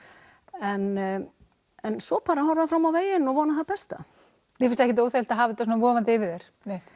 en en svo bara horfa fram á veginn og vona það besta þér finnst ekkert óþæginlegt að hafa þetta svona vofandi yfir þér